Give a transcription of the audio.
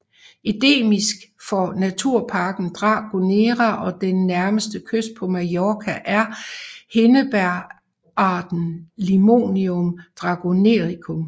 Endemisk for Naturparken Dragonera og den nærmeste kyst på Mallorca er Hindebægerarten Limonium dragonericum